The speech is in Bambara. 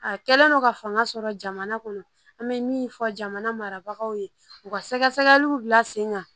A kɛlen don ka fanga sɔrɔ jamana kɔnɔ an bɛ min fɔ jamana marabagaw ye u ka sɛgɛ sɛgɛliw bila sen kan